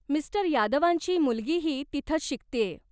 Mister यादवांची मुलगीही तिथंच शिकतेय.